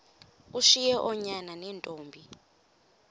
ushiye oonyana neentombi